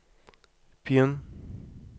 begynn